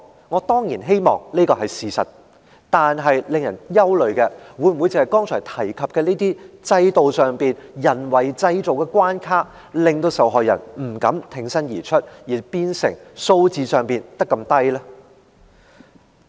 我當然希望這是事實，但令人憂慮的是，我剛才提及的那些制度上和人為造成的關卡會否令受害人不敢挺身而出，導致數字那麼低呢？